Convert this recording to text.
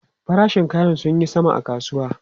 Farashin kaya sun yi sama a kasuwa.